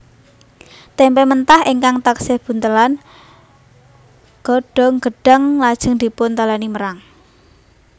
Témpé mentah ingkang taksih buntelan godhong gedhang lajeng dipuntalèni merang